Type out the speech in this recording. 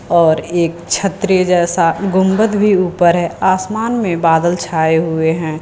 और एक छतरी जैसा गुंबद भी ऊपर है आसमान में बादल छाए हुए हैं।